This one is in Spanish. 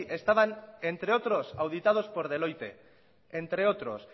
estaban entre otros auditados por deloitte entre otros